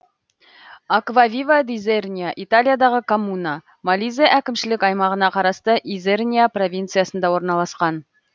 аквавива д изерния италиядағы коммуна молизе әкімшілік аймағына қарасты изерния провинциясында орналасқан